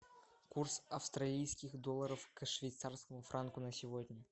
курс австралийских долларов к швейцарскому франку на сегодня